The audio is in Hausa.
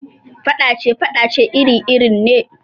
Faɗace-faɗace iri irin ne